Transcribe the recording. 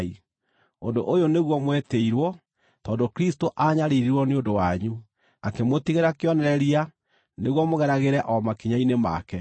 Ũndũ ũyũ nĩguo mwetĩirwo, tondũ Kristũ aanyariirirwo nĩ ũndũ wanyu, akĩmũtigĩra kĩonereria nĩguo mũgeragĩre o makinya-inĩ make.